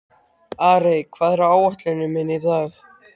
Arey, hvað er á áætluninni minni í dag?